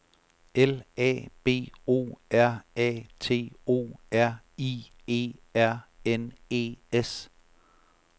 L A B O R A T O R I E R N E S